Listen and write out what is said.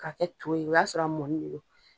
Ka kɛ to ye o y'a sɔrɔ a mɔni le lo.